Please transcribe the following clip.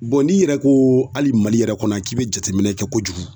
n'i yɛrɛ ko hali mali yɛrɛ kɔnɔ k'i be jateminɛ kɛ kojugu